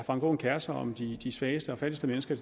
frank aaen kerer sig om de svageste og fattigste mennesker i